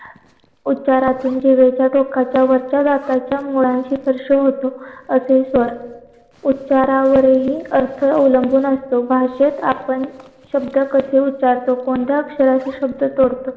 उच्चारातून जिभेचा टोकाच्या वरच्या भागाचा मुळांशी स्पर्श होतो अतिस्वर उच्चारावर हि अर्थ अवलंबून असतो भाषेत आपण शब्द कसे उच्चरतो कोणता अक्षराचे शब्द तोडतो